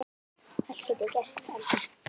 Allt getur gerst, Ellen.